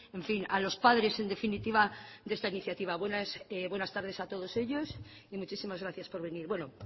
en fin a los padres en definitiva de esta iniciativa buenas tardes a todos ellos y muchísimas gracias por venir bueno